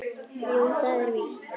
Jú, það er víst.